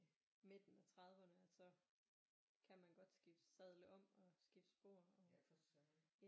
Midten af trediverne at så kan man godt skifte sadle om og skifte spor og